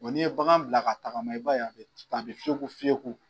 Ɔ n'i ye bagan bila ka tagama i b'a ye a bɛ fiyeku fiyeku.